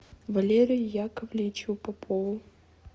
валерию яковлевичу попову